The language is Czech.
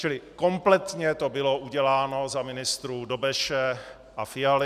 Čili kompletně to bylo uděláno za ministrů Dobeše a Fialy.